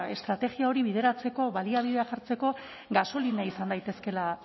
estrategia hori bideratzeko baliabideak jartzeko gasolina izan daitezkeela